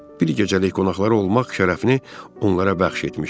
Bir gecəlik qonaqlar olmaq şərəfini onlara bəxş etmişdi.